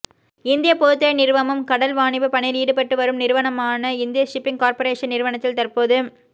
இந்திய பொதுத்துறை நிறுவமும் கடல் வாணிப பணியில் ஈடுபட்டு வரும் நிறுவனமான இந்திய ஷிப்பிங் கார்ப்பரேஷன் நிறுவனத்தில் தற்போது